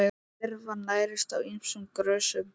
Lirfan nærist á ýmsum grösum.